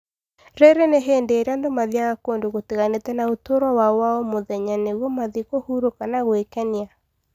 rĩrĩ Nĩ hĩndĩ ĩrĩa andũ mathiaga kũndũ gũtiganĩte na ũtũũro wao wa o mũthenya nĩguo mathiĩ kũhurũka na gwĩkenia.